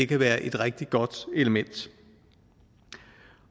kan være et rigtig godt element